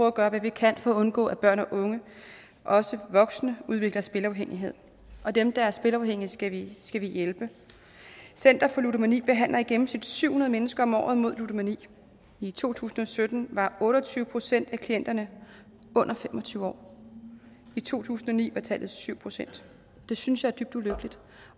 at gøre hvad vi kan for at undgå at børn og unge og også voksne udvikler spilafhængighed dem der er spilafhængige skal vi hjælpe center for ludomani behandler i gennemsnit syv hundrede mennesker om året mod ludomani i to tusind og sytten var otte og tyve procent af klienterne under fem og tyve år i to tusind og ni var tallet syv procent det synes jeg er dybt ulykkeligt